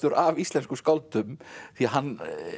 af íslenskum skáldum því hann